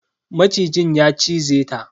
Macijin ya cize ta.